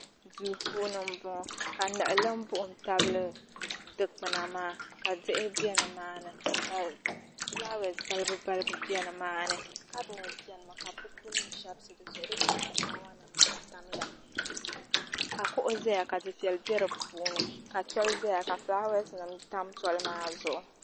Duu puuni m bɔŋɔ ka niɣilimbuɣim tabi dikpuna maa ka diɣi be nimaani ka filaawaasi balibu balibu be nimaani kabɔɔdi beni mi dizuɣu ka filaawanima maa tamya ka kuɣa zaya ka difɛya be di puuni ka tɔli zaya ka filaawasinima tam kuɣu maa zuɣu